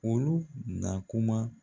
Olu na kuma